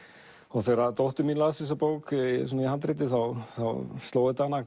þegar dóttir mín las þessa bók í handriti þá sló þetta hana